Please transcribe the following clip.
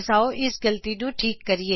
ਆਓ ਅਸੀ ਇਸ ਗਲਤੀ ਨੂੰ ਠੀਕ ਕਰੀਏ